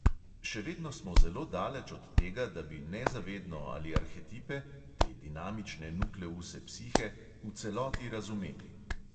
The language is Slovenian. Še vedno smo zelo daleč od tega, da bi nezavedno ali arhetipe te dinamične nukleuse psihe v celoti razumeli.